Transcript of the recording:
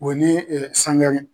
O ni ɛ sangare